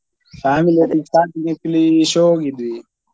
Family ಒಟ್ಟಿಗೆ starting matinee show ಹೋಗಿದ್ವಿ.